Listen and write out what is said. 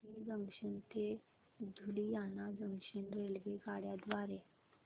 धुरी junction ते Ludhiana junction रेल्वेगाड्यां द्वारे